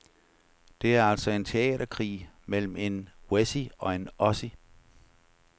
Det er altså en teaterkrig mellem en wessie og en ossie.